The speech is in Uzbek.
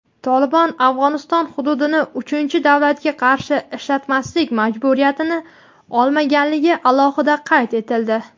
"Tolibon" Afg‘oniston hududini uchinchi davlatga qarshi ishlatmaslik majburiyatini olmaganligi alohida qayd etildi.